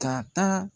Ka taa